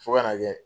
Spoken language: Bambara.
Fo ka na kɛ